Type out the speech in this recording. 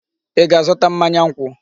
Ị ga-azụta mmanya nkwụ?